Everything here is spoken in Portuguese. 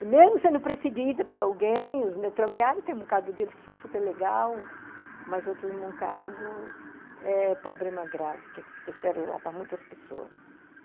E mesmo sendo perseguida por alguém, os metroviários, tem um moncado deles que são superlegais, mas outros moncados, é problema grave, porque trouxeram lá para muitas pessoas.